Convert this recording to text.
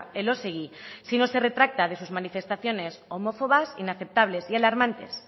elósegui si no se retracta de sus manifestaciones homófobas inaceptables y alarmantes